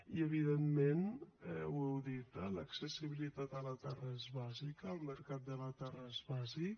i evidentment ho heu dit eh l’accessibilitat a la terra és bàsica el mercat de la terra és bàsic